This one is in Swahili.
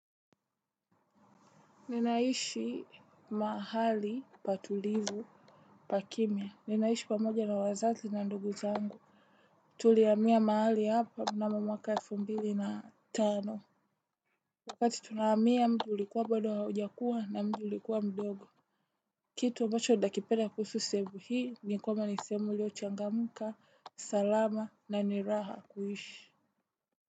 Ninaishi mahali patulivu pakimia. Ninaishi pamoja na wazazi na ndugu zangu. Tulihamia mahali hapa mnamo mwaka elfu mbili na tano. Wakati tunahamia mji ulikuwa bado haujakua na mji ulikuwa mdogo. Kitu ambacho nakipenda kuhusu sehemu hii ni kwamba ni sehemu iliyochangamka salama na ni raha kuishi.